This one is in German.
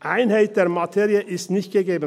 Die Einheit der Materie ist nicht gegeben.